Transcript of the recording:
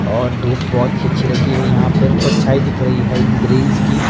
और धूप बहोत अच्छी लगी है यहां पर परछाईं दिख रही है इन ग्रिल्स की--